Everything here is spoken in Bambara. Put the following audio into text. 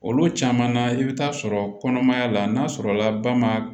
Olu caman na i bɛ taa sɔrɔ kɔnɔmaya la n'a sɔrɔ la ba ma